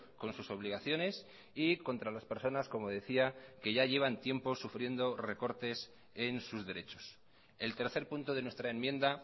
con sus obligaciones y contra las personas como decía que ya llevan tiempo sufriendo recortes en sus derechos el tercer punto de nuestra enmienda